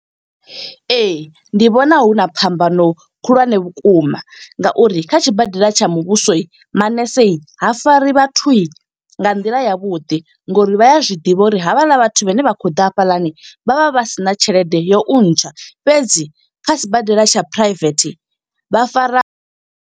Ee, ndi vhona huna phambano khulwane vhukuma nga uri kha tshibadela tsha muvhuso, manese ha fari vhathu nga nḓila ya vhuḓi. Ngo uri vhaya zwiḓivha uri havhaḽa vhathu vhane vha kho ḓa hafhaḽani. Vha vha vha sina tshelede ya u intsha, fhedzi kha sibadela tsha private vha fara.